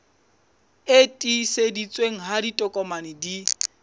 e tiiseditsweng ha ditokomane di